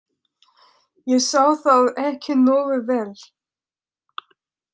. ég sá það ekki nógu vel.